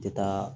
Tɛ taa